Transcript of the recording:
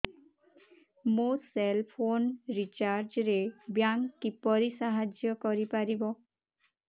ମୋ cell phone recharge ରେ bank କିପରି ସାହାଯ୍ୟ କରିପାରିବ